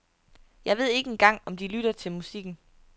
Jeg ved ikke engang om de lytter til musikken.